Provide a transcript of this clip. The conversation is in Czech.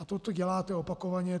A toto děláte opakovaně.